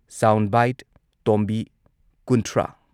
sound ꯕꯥꯏꯠ ꯇꯣꯝꯕꯤ ꯀꯨꯟꯊ꯭ꯔꯥ